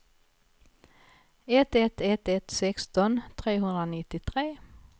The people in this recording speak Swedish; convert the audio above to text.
ett ett ett ett sexton trehundranittiotre